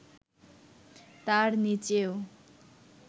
তার নিচেও